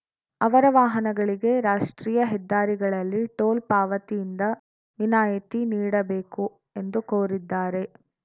ಅವರ ವಾಹನಗಳಿಗೆ ರಾಷ್ಟ್ರೀಯ ಹೆದ್ದಾರಿಗಳಲ್ಲಿ ಟೋಲ್‌ ಪಾವತಿಯಿಂದ ವಿನಾಯಿತಿ ನೀಡಬೇಕು ಎಂದು ಕೋರಿದ್ದಾರೆ